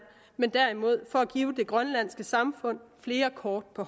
men derimod for at give det grønlandske samfund flere kort på